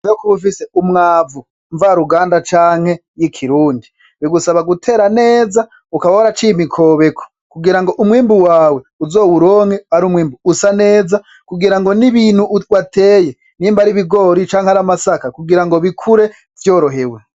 nyuma yukuba ufise umwavu mva ruganda canke y'ikirundi bigusaba gutera neza ukaba waraciye imikobeko kugirango umwimbu wawe uzowuronke ari umwimbu usa neza kugirango n'ibintu wateye nimba ari ibigori canke amasaka kugirango bikure vyorohewe.